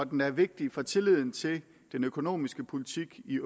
den er vigtig for tilliden til den økonomiske politik i